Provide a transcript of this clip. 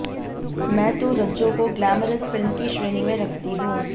मैं तो रज्जो को ग्लैमरस फिल्म की श्रेणी में रखती हूं